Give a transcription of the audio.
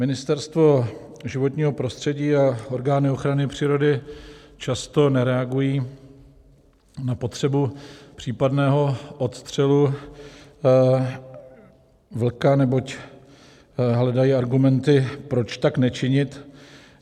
Ministerstvo životního prostředí a orgány ochrany přírody často nereagují na potřebu případného odstřelu vlka, neboť hledají argumenty, proč tak nečinit.